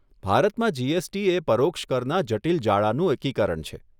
ભારતમાં જીએસટી એ પરોક્ષ કરના જટિલ જાળાનું એકીકરણ છે.